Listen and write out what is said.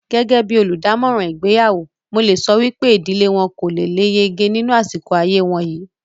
Gẹ́gẹ́ bíi olùdámọ̀ràn ìgbéyàwó, mo lè sọ wípé ìdílé wọn kò le lé yege nínú àsìkò ayé wọn yìí